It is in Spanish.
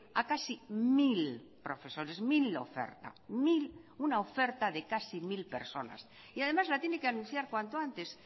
a casi mil profesores mil la oferta una oferta de casi mil personas y además la tiene que anunciar cuanto antes